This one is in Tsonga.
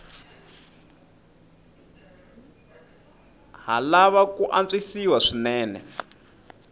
ha lava ku antswisiwa swinene